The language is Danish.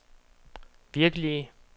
virkelige